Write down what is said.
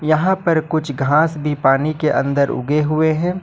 वहां पर कुछ घास भी पानी के अंदर उगे हुए हैं।